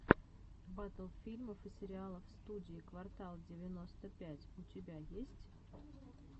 батл фильмов и сериалов студии квартал девяносто пять у тебя есть